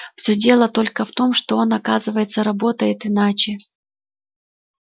всё дело только в том что он оказывается работает иначе